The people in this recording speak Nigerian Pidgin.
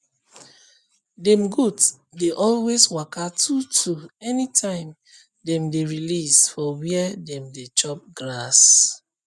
dem goat dey always waka two two anytime dem dey release for where dem dey chop grass